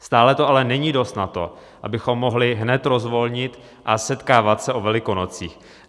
Stále to ale není dost na to, abychom mohli hned rozvolnit a setkávat se o Velikonocích.